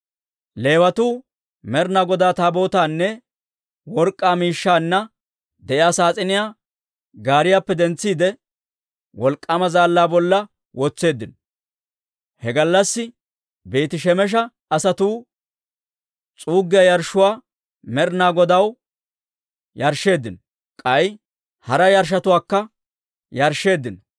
Leewatuu Med'inaa Godaa Taabootaanne work'k'aa miishshaanna de'iyaa saas'iniyaa gaariyaappe dentsiide, wolk'k'aama zaallaa bolla wotseeddino. He gallassi Beeti-Shemesha asatuu s'uuggiyaa yarshshuwaa Med'inaa Godaw yarshsheeddino; k'ay hara yarshshotuwaakka yarshsheeddino.